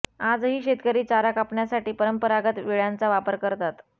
आजही शेतकरी चारा कापण्यासाठी परंपरागत विळ्याचा वापर करतात